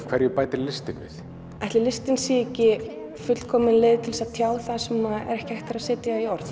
hverju bætir listin við ætli listin sé ekki fullkomin leið til að tjá það sem ekki er hægt að setja í orð